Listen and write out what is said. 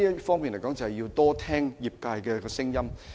所以，政府要多聽業界的聲音。